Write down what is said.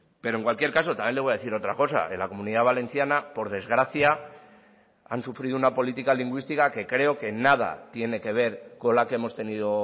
pero en cualquier caso también le voy a decir otra cosa en la comunidad valenciana por desgracia han sufrido una política lingüística que creo que nada tiene que ver con la que hemos tenido